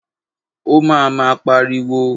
Ó ma máa pariwo.